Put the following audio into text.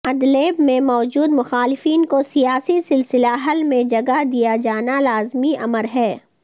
Idlib میں موجود مخالفین کو سیاسی سلسلہ حل میں جگہ دیا جانا لازمی امر ہے